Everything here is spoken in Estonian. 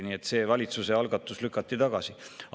Nii et see valitsuse algatus lükati tagasi.